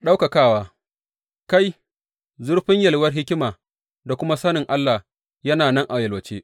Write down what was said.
Ɗaukakawa Kai, zurfin yalwar hikima da kuma sanin Allah yana nan a yalwace!